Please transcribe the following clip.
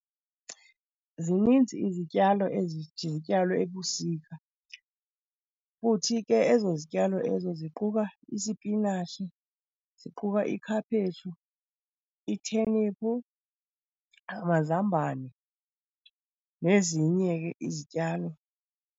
Zininzi izityalo ezithi zityalwe ebusika, futhi ke ezo zityalo ezo ziquka isipinatshi, ziquka ikhaphetshu, itheniphu, amazambane nezinye ke izityalo.